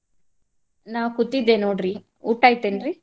ನಾ ಕೂತಿದ್ದೆ ನೋಡ್ರಿ ಊಟಾ ಆಯತೇನ್ರಿ?